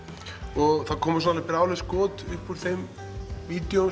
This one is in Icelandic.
og það komum brjáluð skot upp úr þeim vídeóum